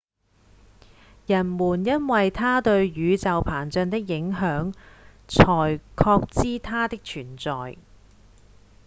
人們因為它對宇宙膨脹的影響才確知它的存在